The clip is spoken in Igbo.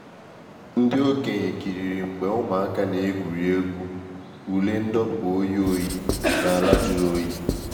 Ndị okenye kiriri mgbe ụmụaka na-egwuri egwu ule ndọpụ oyi oyi n’ala jụrụ oyi.